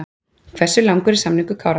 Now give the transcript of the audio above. Hversu langur er samningur Kára?